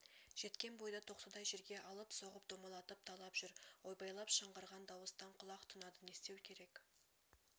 жеткен бойда тоқтыдай жерге алып-соғып домалатып талап жүр ойбайлап шыңғырған дауыстан құлақ тұнады не істеу керек